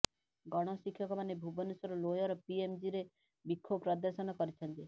ଗଣ ଶିକ୍ଷକମାନେ ଭୁବନେଶ୍ୱର ଲୋୟର ପିଏମଜିରେ ବିକ୍ଷୋଭ ପ୍ରଦର୍ଶନ କରିଛନ୍ତି